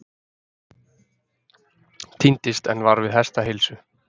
Týndist en var við hestaheilsu